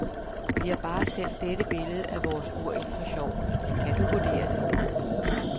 Vi har bare sendt dette billede af vores ur ind for sjov, men kan du vurdere det.